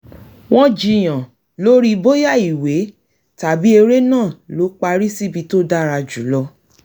wọ́n jiyàn lórí bóyá ìwé tàbí eré náà ló parí síbi tó dára jù lọ